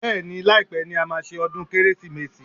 Bẹ́ẹ̀ni, láìpé ni a máa ṣe ọdún Kérésìmesì